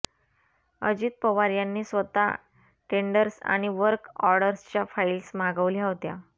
अजित पवार यांनी स्वतः टेंडर्स आणि वर्क ऑर्डर्सच्या फाईल्स मागवल्या होत्या